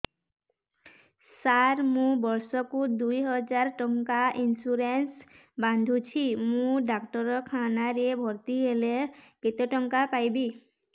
ସାର ମୁ ବର୍ଷ କୁ ଦୁଇ ହଜାର ଟଙ୍କା ଇନ୍ସୁରେନ୍ସ ବାନ୍ଧୁଛି ମୁ ଡାକ୍ତରଖାନା ରେ ଭର୍ତ୍ତିହେଲେ କେତେଟଙ୍କା ପାଇବି